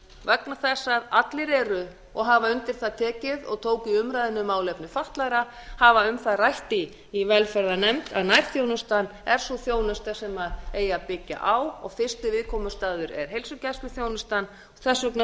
vegna þess að allir hafa undir það tekið og tóku í umræðunni um málefni fatlaðra hafa um það rætt í velferðarnefnd að nærþjónustan er sú þjónusta sem eigi að byggja á og fyrsti viðkomustaður er heilsugæsluþjónustan þess